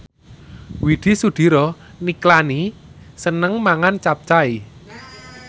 Widy Soediro Nichlany seneng mangan capcay